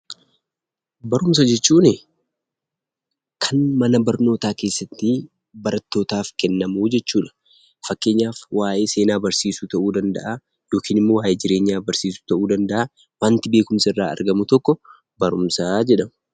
Barumsa jechuun kan mana barumsaa keessatti barattootaaf kennamu jechuudha. Fakkeenyaaf waa'ee Seenaa barsiisuu ta'uu danda'aa, yookiin immoo waa'ee jireenyaa barsiisuu ta'uu danda'a. Wanti beekumsi irraa argamu tokkoo barumsa jedhama.